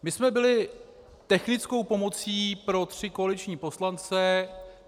My jsme byli technickou pomocí pro tři koaliční poslance.